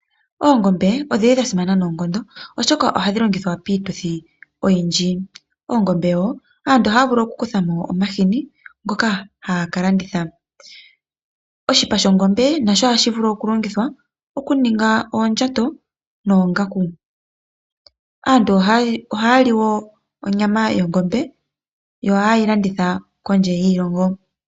Oongombe odhina oshilonga nayi noonkondo , oshoka oha dhi zi onyama ndjoka hayi liwa kaantu no shoo woo omahini ngoka haga nuwa kaantu.